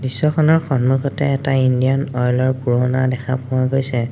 দৃশ্যখনৰ সন্মুখতে এটা ইণ্ডিয়ান অইল ৰ পুৰণা দেখা পোৱা গৈছে।